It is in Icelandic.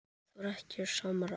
Það var ekkert samráð.